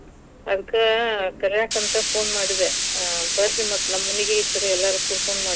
ಹ್ಮ್ ಅದಕ ಕರ್ಯಾಕoತ phone ಮಾಡಿದೆ. ಹಾ ಬರ್ರೀ ಮತ್ ನಮ್ ಮನೀಗೆ ಈ ಸಾರಿ ಎಲ್ಲಾರು ಕೂಡಕೊಂಡ.